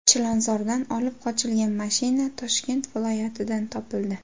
Chilonzordan olib qochilgan mashina Toshkent viloyatidan topildi.